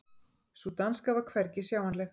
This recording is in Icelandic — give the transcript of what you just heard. Sú danska var hvergi sjáanleg.